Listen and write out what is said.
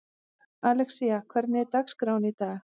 Alexía, hvernig er dagskráin í dag?